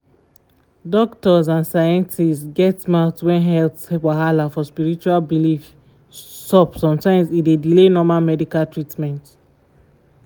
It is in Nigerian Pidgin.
doktors and scientists get mouth when health wahala for spiritual beliefs sup sometimes e dey delay normal medical treatment.